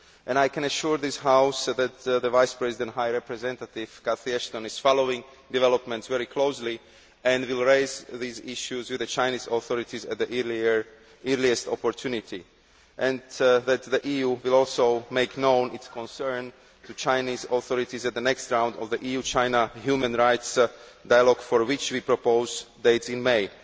I can assure this House that the Vice President High Representative, Catherine Ashton, is following developments very closely and will raise these issues with the Chinese authorities at the earliest opportunity, and that the EU will also make known its concern to the Chinese authorities at the next round of the EU China human rights dialogue, for which we have proposed dates in May.